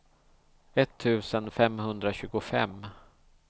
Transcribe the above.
etttusen femhundratjugofem